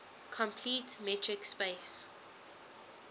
complete metric space